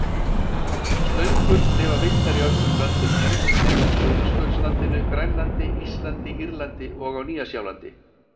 Slöngur lifa villtar í öllum löndum heims nema á Suðurskautslandinu, Grænlandi, Íslandi, Írlandi og Nýja-Sjálandi.